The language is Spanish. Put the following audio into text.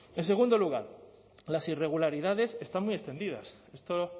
en segundo lugar las irregularidades están muy extendidas esto